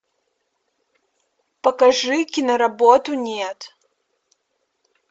покажи киноработу нет